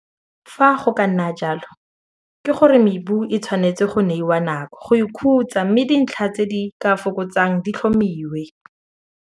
Fa go sa nna jalo, ke go re mebu e tshwanetse go neiwa nako go ikhutsa mme dintlha tse di ka fokotsang di tlhomiwe.